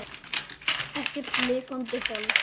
Ekkert lifandi hold.